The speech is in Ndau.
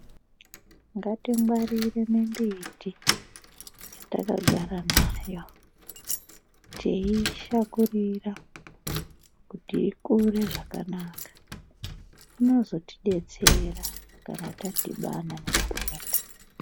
Ngatingwarire mimbiti yatakagara nayo, teiishakurira kuti ikure zvakanaka. Inozotodetsera kana tadhibana nematenda.